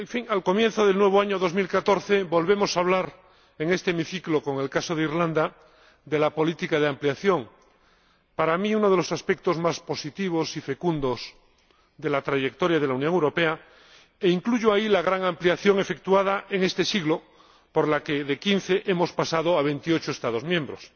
Al comienzo del nuevo año 2014 volvemos a hablar en este hemiciclo, con el caso de Islandia, de la política de ampliación ―para mí, uno de los aspectos más positivos y fecundos de la trayectoria de la Unión Europea, e incluyo ahí la gran ampliación efectuada en este siglo, por la que de quince hemos pasado a veintiocho Estados miembros―.